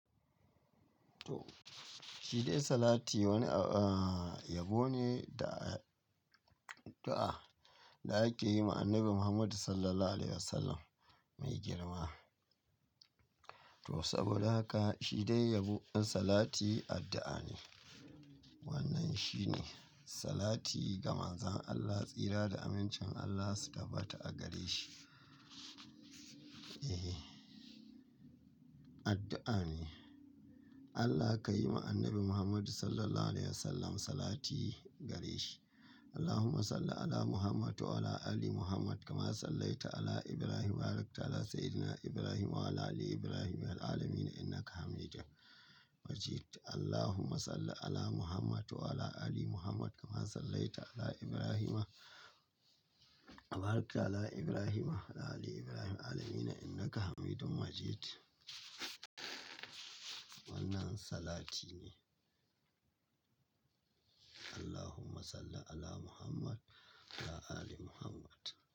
To, shi dai salati wani a-- yabo ne da addu'a da ake yi ma Annabi Muhammadu Sallallahu Alaihi Wasallam mai girma. To saboda haka shi dai yabon salati addu'a ne. Wannan shi ne salati, "Gama zan Allah tsira da amincin Allah suka bata a gare shi." Ehe, addu'a ne. Allah ka yi ma Annabi Muhammadu Sallallahu Alaihi Wasallam salati gare shi. "Allahumma salli 'ala Muhammad wa 'ala ali Muhammad kama sallaita 'ala Ibrahim wa barakta 'ala sayyidina Ibrahim wa 'ala ali Ibrahim fil 'alamin innaka hamidun majid." "Allahumma salli 'ala Muhammad wa 'ala ali Muhammad kama sallaita 'ala Ibrahim wa barakta 'ala Ibrahim wa 'ala ali Ibrahim fil 'alamin innaka hamidun majid." Wannan salati ne. "Allahumma salli 'ala Muhammad wa 'ala ali Muhammad."